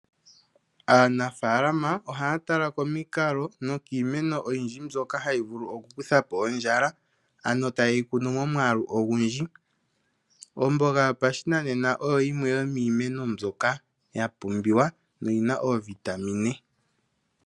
Aanafaalama ohaa tala komikalo nokiimeno oyindji mbyoka hayi vulu okukutha po ondjala, ano taye yi kunu momwaalu ogundji. Omboga yopashinanena oyo yimwe yomiimeno mbyoka ya pumbiwa noyi na oovitamine.